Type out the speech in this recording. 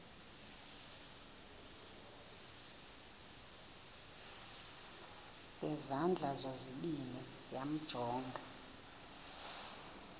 ngezandla zozibini yamjonga